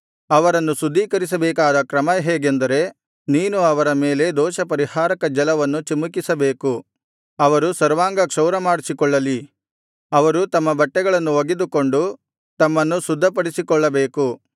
ಅವರನ್ನು ಶುದ್ಧೀಕರಿಸಬೇಕಾದ ಕ್ರಮ ಹೇಗೆಂದರೆ ನೀನು ಅವರ ಮೇಲೆ ದೋಷಪರಿಹಾರಕ ಜಲವನ್ನು ಚಿಮುಕಿಸಬೇಕು ಅವರು ಸರ್ವಾಂಗ ಕ್ಷೌರಮಾಡಿಸಿಕೊಳ್ಳಲಿ ಅವರು ತಮ್ಮ ಬಟ್ಟೆಗಳನ್ನು ಒಗೆದುಕೊಂಡು ತಮ್ಮನ್ನು ಶುದ್ಧಪಡಿಸಿಕೊಳ್ಳಬೇಕು